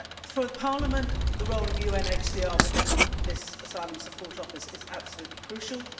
For Parliament, the role of UNHCR within this Asylum Support Office is absolutely crucial.